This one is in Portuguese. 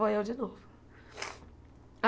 Foi eu de novo.